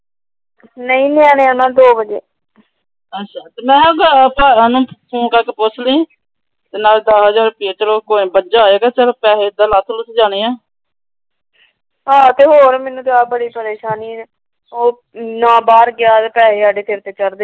ਆ ਤੇ ਹੋਰ ਮੈਨੂੰ ਤਾਂ ਆਪ ਬੜੀ ਪਰੇਸ਼ਾਨੀ ਏ। ਨਾ ਬਾਹਰ ਗਿਆ ਪੈਸੇ ਸਿਰ ਤੇ ਚੜ੍ਹਦੇ ।